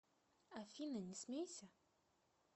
афина не смейся